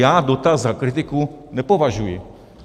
Já dotaz za kritiku nepovažuji.